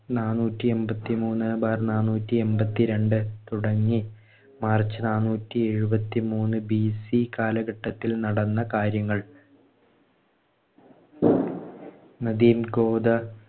നാന്നൂറ്റിഎൺപത്തിമൂന്ന് bar നാന്നൂറ്റിഎൺപത്തിരണ്ട് തുടങ്ങി March നാനൂറ്റിഎഴുപത്തിമൂന്ന് BC കാലഘട്ടത്തിൽ നടന്ന കാര്യങ്ങൾ നദീം ഗോദാ